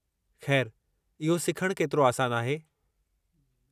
खै़रु इहो सिखणु केतिरो आसानु आहे?